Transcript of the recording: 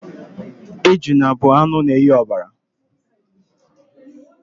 Ejuna bụ anụ na-enye ọbara.